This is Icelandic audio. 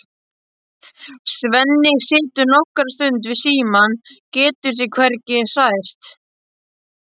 Svenni situr nokkra stund við símann, getur sig hvergi hrært.